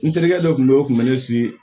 N terikɛ dɔ tun bɛ yen o kun bɛ ne